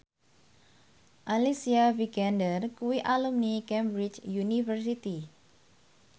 Alicia Vikander kuwi alumni Cambridge University